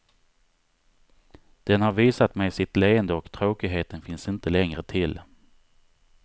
Den har visat mig sitt leende och tråkigheten finns inte längre till.